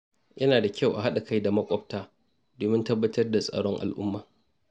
Yana da kyau a haɗa kai da maƙwabta domin tabbatar da tsaron al’umma.